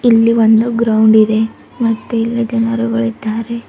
ಇಲ್ಲಿ ಒಂದು ಗ್ರೌಂಡ್ ಇದೆ ಮತ್ತೆ ಇಲ್ಲಿ ಜನರುಗಳಿದ್ದಾರೆ.